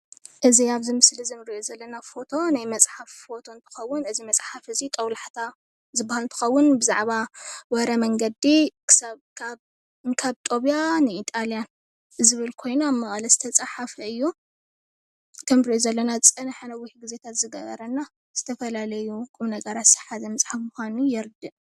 እዚ ኣብዚ ምስሊ እዚ ንርእዮ ዘለና ፎቶ ናይ መፅሓፍ ፎቶ እንትኸውን እዚ መፅሓፍ እዚ ጦብላሕታ ዝባሃል እንትኸውን ብዛዕባ ወረ መንገዲ ክሳብ ካብ እንካብ ጦብያ ንኢጣልያ ዝብል ኮይኑ ኣብ መቐለ ዝተፃሓፈ እዩ። ከም ንርእዮ ዘለና ዝፀንሐን ነዊሕ ግዜታት ዝገበረን ዝተፈላለዩ ቁምነገርራት ዝሓዘ መፅሓፍ ምዃኑ የረድእ።